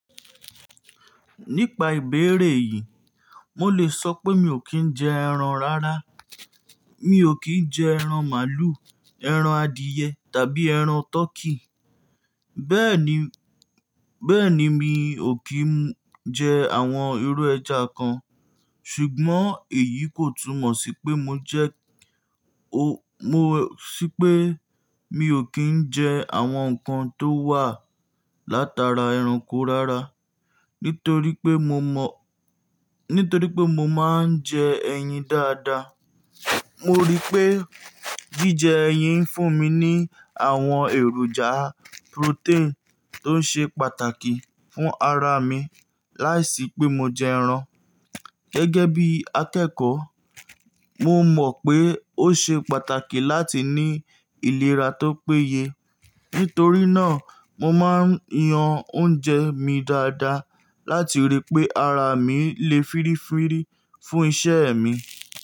Nípa ìbéèrè yìí, mo lè sọ pé mi ò kí ń jẹ ẹran rárá. Mi ò kí ń jẹ ẹran màlúù, ẹran adìyẹ tàbí ẹran tọkí. Bẹ́ẹ̀ ni, bẹ́ẹ̀ ni mi ò kí ń jẹ àwọn irú ẹja kan. Ṣùgbọ́n èyí kò túmọ̀ sí pé mo jẹ́ ó, mo sí pé mi ò kí ń jẹ àwọn nǹkan tó wà látara ẹranko rárá. Nítorí pé mo mọ̀, nítorí pé mo máa ń jẹ ẹyin dáadáa. Mo rí pé jíjẹ ẹyin ń fún mi ní àwọn èròjà protein tó ń ṣe pàtàkì fún ara mi láìsí pé mo jẹ ẹran. Gẹ́gẹ́ bí akẹ́kọ̀ọ́, mo mọ̀ pé ó ṣe pàtàkì láti ní ìlera tó péye. Nítorí náà, mo máa ń yan oúnjẹ mi dáadáa láti rí pé ara mi lè fírífírí fún iṣẹ́ mi.